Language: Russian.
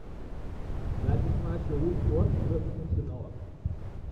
запись матча уотфорд против арсенала